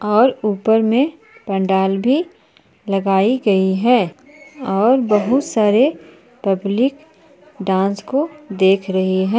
और ऊपर में पंडाल भी लगाई गई है और बहुत सारे पब्लिक डांस को देख रही है।